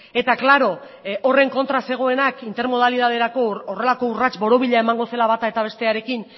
eta klaro horren kontra zegoenak intermodalidaderako horrelako urrats borobila emango zela bata eta bestearekin